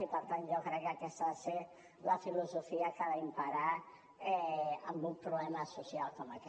i per tant jo crec que aquesta ha de ser la filosofia que ha d’imperar en un problema social com aquest